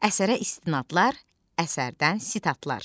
Əsərə istinadlar, əsərdən sitatlar.